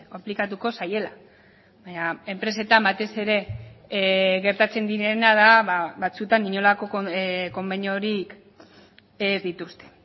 aplikatuko zaiela baina enpresetan batez ere gertatzen direna da batzuetan inolako konbeniorik ez dituzte